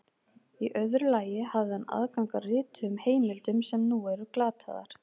Í öðru lagi hafði hann aðgang að rituðum heimildum sem nú eru glataðar.